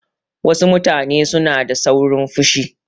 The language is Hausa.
Wasu mutane suna da saurin fushi.